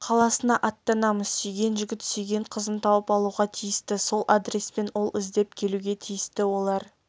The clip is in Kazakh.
қаласына аттанамыз сүйген жігіт сүйген қызын тауып алуға тиісті сол адреспен ол іздеп келуге тиісті олар